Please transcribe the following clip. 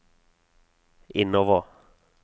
innover